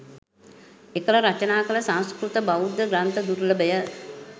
එකල රචනා කළ සංස්කෘත බෞද්ධ ග්‍රන්ථ දුර්ලභය.